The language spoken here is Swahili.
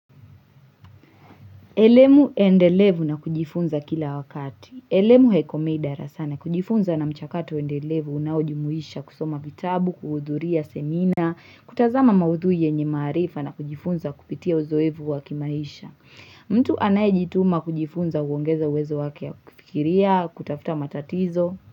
Elemu endelevu na kujifunza kila wakati. Elemu heikomei darasani. Kujifunza na mchakato endelevu unaoujimuisha kusoma vitabu, kuhudhuria semina, kutazama maudhui yenye maarifa na kujifunza kupitia uzoevu wakimaisha. Mtu anayejituma kujifunza huongeza uwezo wake ya kufikiria, kutafuta matatizo.